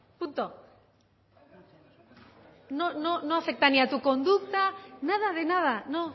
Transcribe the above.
punto no afecta ni a tu conducta nada de nada no